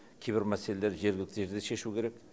кейбір мәселелерді жергілікті жерде шешу керек